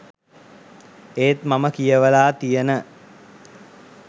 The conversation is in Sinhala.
ඒත් මම කියවලා තියන